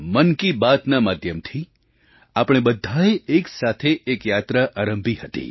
મન કી બાતના માધ્યમથી આપણે બધાએ એક સાથે એક યાત્રા આરંભી હતી